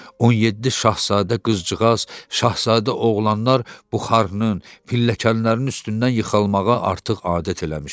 17 şahzadə qızcığaz, şahzadə oğlanlar buxarının, pilləkənlərin üstündən yıxılmağa artıq adət eləmişdilər.